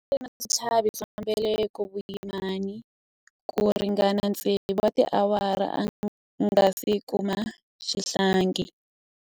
A ri na switlhavi swa mbeleko vuyimani ku ringana tsevu wa tiawara a nga si kuma xihlangi.